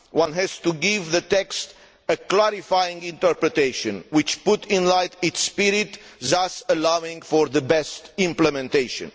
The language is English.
One has to give that text a clarifying interpretation which puts in light its spirit, thus allowing for the best implementation.